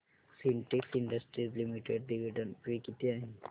Sintex industries limited dividend pay किती आहे